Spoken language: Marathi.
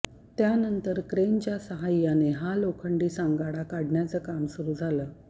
त्यानंतर क्रेनच्या सहाय्याने हा लोखंडी सांगाडा काढण्याचं काम सुरू झालं